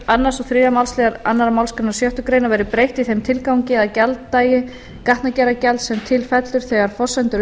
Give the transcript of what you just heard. annað og þriðja máls annarri málsgrein sjöttu grein verði breytt í þeim tilgangi að gjalddagi gatnagerðargjalds sem til fellur þegar forsendur og